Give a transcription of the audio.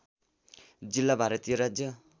जिल्ला भारतीय राज्य